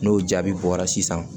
N'o jaabi bɔra sisan